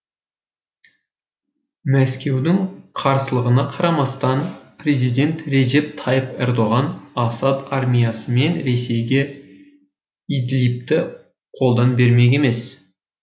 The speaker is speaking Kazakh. мәскеудің қарсылығына қарамастан президент реджеп тайып ердоған асад армиясы мен ресейге идлибті қолдан бермек емес